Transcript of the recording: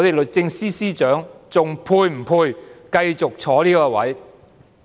律政司司長是否仍配繼續坐在這位置上呢？